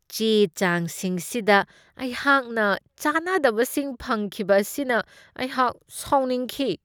ꯆꯦ ꯆꯥꯡꯁꯤꯡꯁꯤꯗ ꯑꯩꯍꯥꯛꯅ ꯆꯥꯅꯗꯕꯁꯤꯡ ꯐꯪꯈꯤꯕ ꯑꯁꯤꯅ ꯑꯩꯍꯥꯛ ꯁꯥꯎꯅꯤꯡꯈꯤ꯫